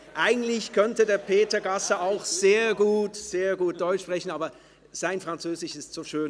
Eigentlich könnte Peter Gasser auch sehr gut Deutsch sprechen, aber sein Französisch ist so schön.